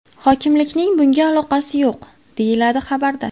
Hokimlikning bunga aloqasi yo‘q”, deyiladi xabarda.